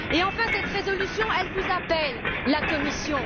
Enfin, cette résolution, elle vous appelle, la Commission.